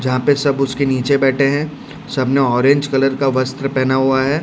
जहां पे सब उसके नीचे बैठे हैं सब ने ऑरेंज कलर का वस्त्र पहना हुआ है।